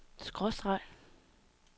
skråstreg